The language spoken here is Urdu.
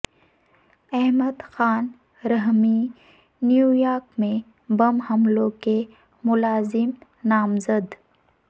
احمد خان رحمی نیویارک میں بم حملوں کے ملزم نامزد